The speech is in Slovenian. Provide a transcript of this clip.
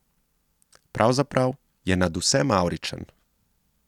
Pravzaprav je nadvse mavričen.